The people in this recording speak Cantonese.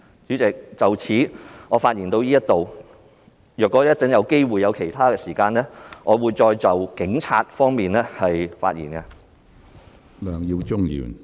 主席，我發言至此，如果稍後有機會和時間，我會再就警察方面發言。